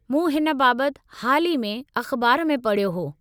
मूं हिन बाबत हाल ई में अख़बार में पढ़ियो हो।